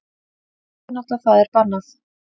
Óvinátta það er bannað.